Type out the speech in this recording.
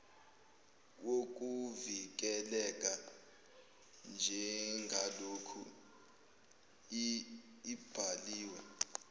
wokuvikeleka njengaloku ibhaliwe